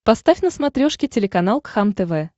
поставь на смотрешке телеканал кхлм тв